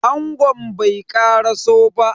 Angon bai karaso ba.